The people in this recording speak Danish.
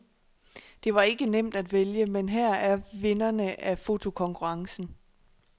Det var ikke nemt at vælge, men her er vinderne af fotokonkurrencen.